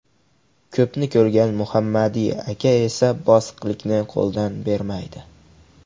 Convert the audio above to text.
Ko‘pni ko‘rgan Muhammadi aka esa bosiqlikni qo‘ldan bermaydi.